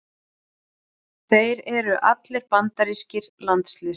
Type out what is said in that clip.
Þeir eru allir bandarískir landsliðsmenn